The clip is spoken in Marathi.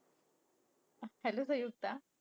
Hello संयुक्ता!